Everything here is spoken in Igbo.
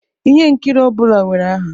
Ihe nkiri ọ bụla nwere aha